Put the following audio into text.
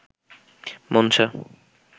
Manasa